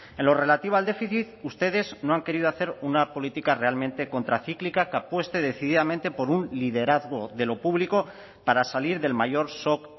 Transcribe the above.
en lo relativo al déficit ustedes no han querido hacer una política realmente contracíclica que apueste decididamente por un liderazgo de lo público para salir del mayor shock